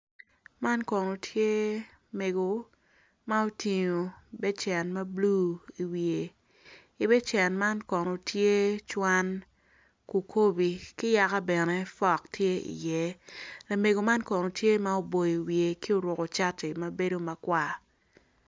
man kono tye mego ma otingo becen ma bulu i wiye i becen man kon tye cwan kukobi ki yaku bene fok tye iye lamego man kono tye ma oboyo wiye ki ourku cati ma bedo makwar